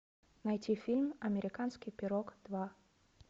найти фильм американский пирог два